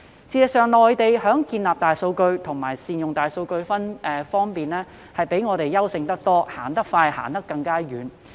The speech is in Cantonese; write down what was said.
事實上，內地在建立大數據庫和善用大數據技術方面遠比香港優勝，走得更快更遠。